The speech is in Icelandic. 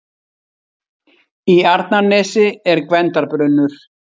Í Arnarnesi er Gvendarbrunnur.